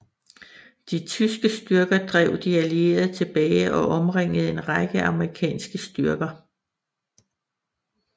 De tyske styrker drev de allierede tilbage og omringede en række amerikanske styrker